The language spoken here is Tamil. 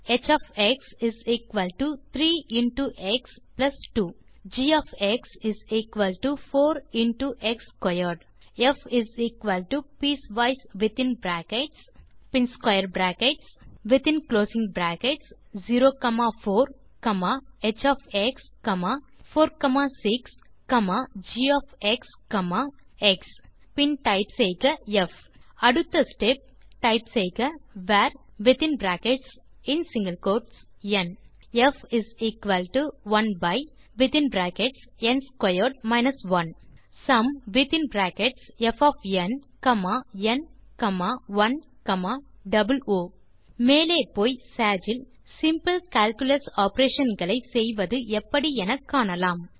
varஎக்ஸ் ஹ் 3 into x plus 2 g is equal to 4 into x squared ப் பீஸ்வைஸ் வித்தின் பிராக்கெட்ஸ் மீண்டும் ஸ்க்வேர் பிராக்கெட்ஸ் மற்றும் ஸ்க்வேர் பிராக்கெட்ஸ் மீண்டும் within closing brackets 04h46gx type செய்க ப் அடுத்த ஸ்டெப் டைப் செய்க varந் ப் 1 sumப் ந் 1 ஓ மேலே போய் சேஜ் இல் சிம்பிள் கால்குலஸ் ஆப்பரேஷன்ஸ் செய்வதெப்படி என காணலாம்